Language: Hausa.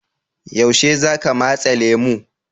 Yaushe za ka matse lemu?